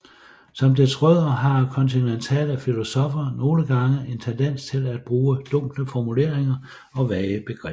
Som dets rødder har kontinentale filosoffer nogle gange en tendens til at bruge dunkle formuleringer og vage begreber